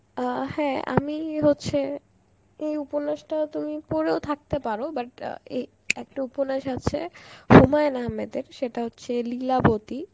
অ্যাঁ হ্যাঁ আমি হচ্ছে ওই উপন্যাস টাও তুমি পড়েও থাকতে পারো but অ্যাঁ এ আর একটা উপন্যাস আছে হুমায়ূন আহাম্মেদের সেটা হচ্ছে লীলাবতী